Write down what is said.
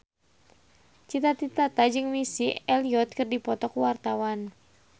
Cita Citata jeung Missy Elliott keur dipoto ku wartawan